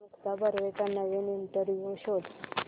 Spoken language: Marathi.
मुक्ता बर्वेचा नवीन इंटरव्ह्यु शोध